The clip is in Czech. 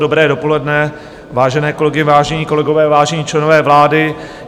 Dobré dopoledne, vážené kolegyně, vážení kolegové, vážení členové vlády.